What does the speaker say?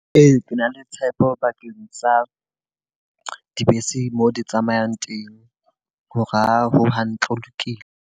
Ee, ke na le tshepo bakeng sa dibese mo di tsamayang teng, ho ra ho hantle ho lokile.